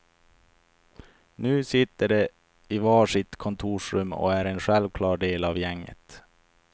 Nu sitter de i var sitt kontorsrum och är en självklar del av gänget.